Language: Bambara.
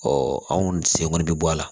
anw sen kɔni bɛ bɔ a la